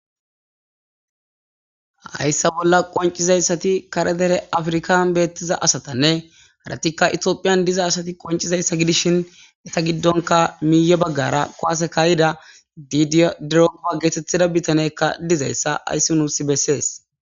hayssa bolla qoncizayssati karedere afrikan beettiza asatanne haratikka itioophiyan diza asati qoncizayssa gidishin eta giddonka miiyo baggara koasekayida diidia dirogopa geetetthida bitanekka dizayssa ayssi nuus bessees